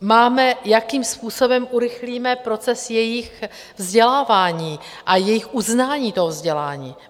Máme, jakým způsobem urychlíme proces jejich vzdělávání a jejich uznání toho vzdělání?